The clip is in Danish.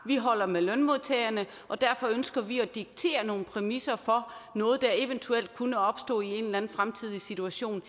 vi holder med lønmodtagerne og derfor ønsker vi at diktere nogle præmisser for noget der eventuelt kunne opstå i en eller anden fremtidig situation